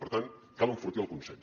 per tant cal enfortir el consens